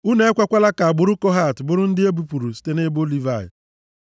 “Unu ekwekwala ka agbụrụ Kohat bụrụ ndị e bipụrụ site nʼebo Livayị.